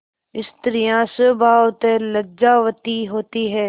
स्त्रियॉँ स्वभावतः लज्जावती होती हैं